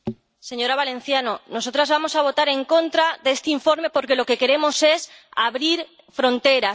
Señora Valenciano, nosotras vamos a votar en contra de este informe porque lo que queremos es abrir fronteras.